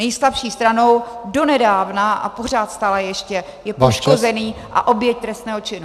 Nejslabší stranou donedávna a pořád stále ještě je poškozený a oběť trestného činu.